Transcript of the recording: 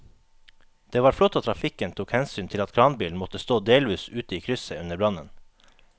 Det var flott at trafikken tok hensyn til at kranbilen måtte stå delvis ute i krysset under brannen.